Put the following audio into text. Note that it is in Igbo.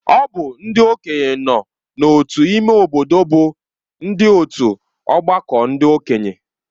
Ọ bụ ndị okenye nọ n’otu ime obodo bụ ndị otu ọgbakọ ndị okenye